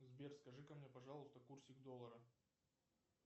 сбер скажи ка мне пожалуйста курсик доллара